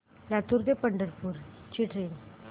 लातूर ते पंढरपूर ची ट्रेन